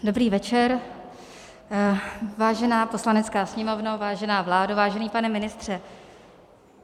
Dobrý večer, vážená Poslanecká sněmovno, vážená vládo, vážený pane ministře.